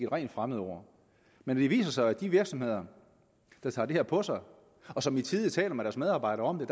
rent fremmedord men det viser sig at der i de virksomheder der tager det her på sig og som i tide taler med deres medarbejdere om det